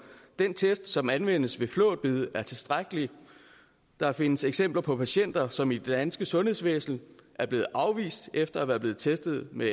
den test som anvendes ved flåtbid er tilstrækkelig der findes eksempler på patienter som i det danske sundhedsvæsen er blevet afvist efter at være blevet testet med